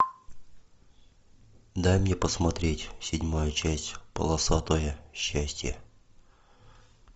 дай мне посмотреть седьмая часть полосатое счастье